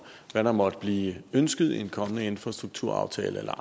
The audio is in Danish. hvad der måtte blive ønsket i en kommende infrastrukturaftale eller